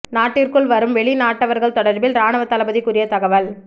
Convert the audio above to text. நாட்டிற்குள் வரும் வெளிநாட்டவர்கள் தொடர்பில் இராணுவ தளபதி கூறிய தகவல்